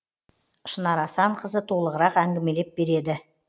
шынар асанқызы толығырақ әңгімелеп береді